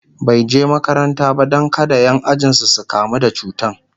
bai je makaranta ba Dan kada Ƴan ajinsu su kamu da cutan